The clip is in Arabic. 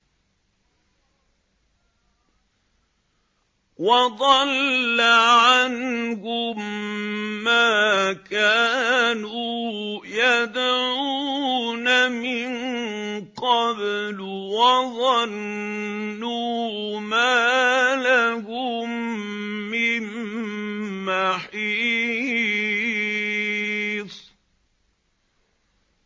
وَضَلَّ عَنْهُم مَّا كَانُوا يَدْعُونَ مِن قَبْلُ ۖ وَظَنُّوا مَا لَهُم مِّن مَّحِيصٍ